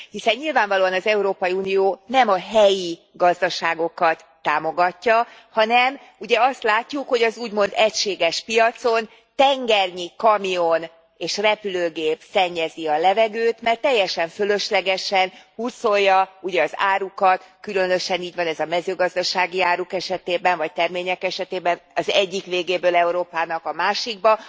Hiszen nyilvánvalóan az Európai Unió nem a helyi gazdaságokat támogatja, hanem ugye azt látjuk, hogy az úgymond egységes piacon tengernyi kamion és repülőgép szennyezi a levegőt, mert teljesen fölöslegesen hurcolja ugye az árukat különösen így van ez a mezőgazdasági áruk esetében, vagy termények esetében az egyik végéből Európának a másikba.